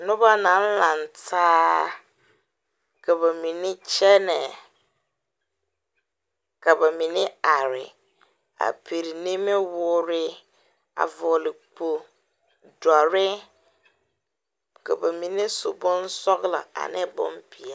Noba naŋ laŋtaa ka ba mine kyɛnɛ ka ba mine are a piri nimiwoore a vɔgle kpo dɔre ka ba mine su bonsɔglɔ ane bonpeɛlle.